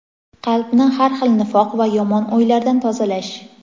qalbni har xil nifoq va yomon o‘ylardan tozalash.